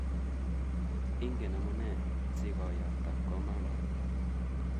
Ingen amune si ko yapta komanda